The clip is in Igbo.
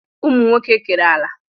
Ụmụnwoke kere ala